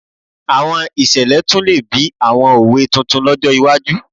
Àwọn ìṣẹ̀lẹ̀ tún lè bí àwọn òwe tuntun lọ́jọ́ iwájú